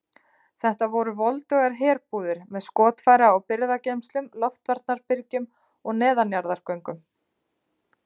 Þetta voru voldugar herbúðir með skotfæra og birgðageymslum, loftvarnarbyrgjum og neðanjarðargöngum.